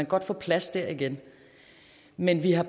godt få plads der igen men vi har